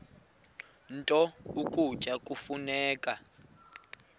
nto ukutya kufuneka